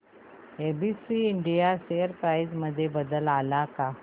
ABC India share price मध्ये बदल आलाय का